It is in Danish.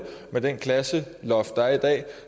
med det klasseloft der er i dag